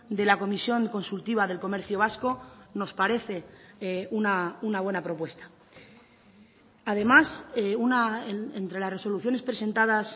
de la comisión consultiva del comercio vasco nos parece una buena propuesta además entre las resoluciones presentadas